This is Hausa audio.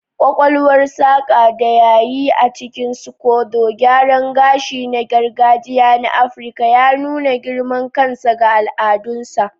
Ƙwaƙwalwar saƙar da ya yi a cikin scodo, gyaran gashi na gargajiya na Afirka, ya nuna girman kansa ga al'adunsa.